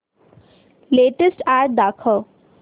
latest ad दाखव